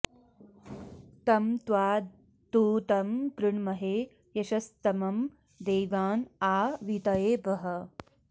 तं त्वा॑ दू॒तं कृ॑ण्महे य॒शस्त॑मं दे॒वाँ आ वी॒तये॑ वह